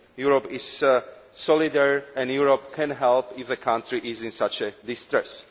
Europe is solidarity and Europe can help if the country is in such distress.